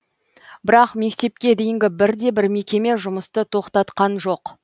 бірақ мектепке дейінгі бір де бір мекеме жұмысты тоқтатқан жоқ